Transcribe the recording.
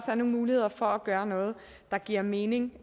er nogle muligheder for at gøre noget der giver mening